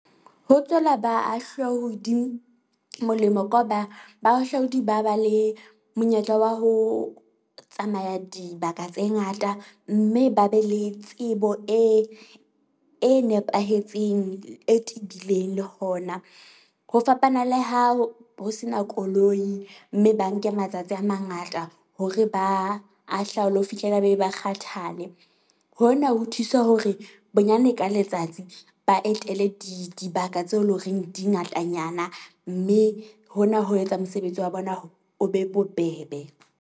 Ho tswela baahlaudi molemo ka hoba bahahlaodi ba ba le monyetla wa ho tsamaya dibaka tse ngata. Mme ba be le tsebo e e nepahetseng, e tebileng le hona. Ho fapana le ha ho se na koloi mme ba nke matsatsi a mangata hore ba ahlaule ho fihlela ba be ba kgathale. Hona ho thusa hore bonyane ka letsatsi ba etele di dibaka tseo e leng horeng di ngatanyana, mme hona ho etsa mosebetsi wa bona o be bobebe.